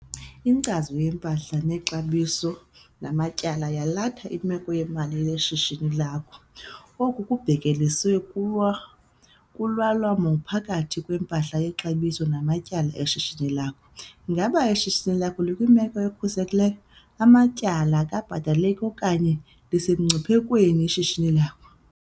Inkcazo yeMpahla neXabiso namaTyala yalatha imeko yemali yeshishini lakho. Oku kubhekeliswe kulwalamano phakathi kwempahla yexabiso namatyala eshishini lakho. Ingaba ishishini lakho likwimeko ekhuselekileyo - amatyala akabhataleki, okanye lisemngciphekweni ishishini lakho?